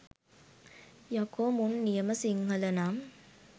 යකෝ මුන් නියම සිංහල නම්